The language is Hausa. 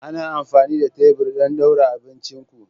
Ana amfani da tebur don ɗaura abincin ku.